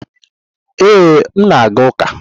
Ee, m na-aga ụka.